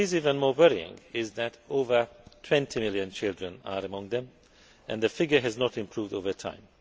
What is even more worrying is that over 20 million children are among them and the figure has not improved over time.